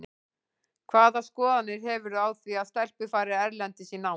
Hvaða skoðanir hefurðu á því að stelpur fari erlendis í nám?